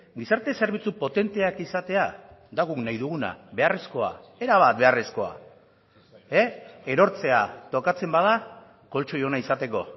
gizarte zerbitzu potenteak izatea da guk nahi duguna beharrezkoa era bat beharrezkoa erortzea tokatzen bada koltxoi ona izateko